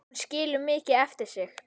Hún skilur mikið eftir sig.